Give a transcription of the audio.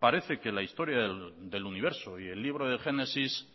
parece que la historia del universo y el libro de génesis